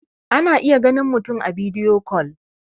ana iya ganin mutum a bidiyo kol